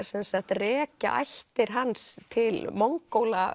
rekja ættir hans til